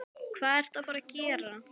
Hvað ertu að fara að gera?